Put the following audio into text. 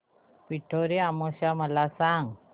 पिठोरी अमावस्या मला सांग